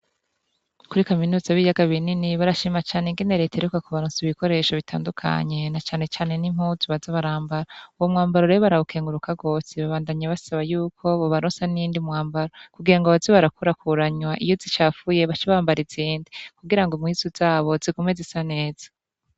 Kuri kaminuza y'ibiyaga binini barashima cane ukuntu reta iheruka kubaronsa ibikoresho bitandukanye na canecane nimuzu Baza barambara, uwomwambaro rero barawukengururka gose babandanya basaba yuko bobarosa n'uwundi mwambaro kugirango baze barakurakuranya iyo zicafuye bace bambara izindi kugirango impuzu zabo zigume zisa neza.